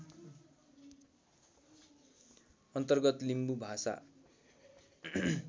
अन्तर्गत लिम्बू भाषा